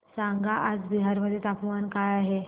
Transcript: सांगा आज बिहार मध्ये तापमान काय आहे